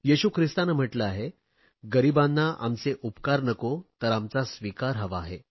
येशू ख्रिस्ताने म्हटले आहे गरीबांना आमचे उपकार नको तर आमचा स्वीकार हवा आहे